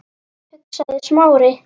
hugsaði Smári.